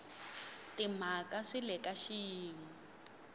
timhaka swi le ka xiyimo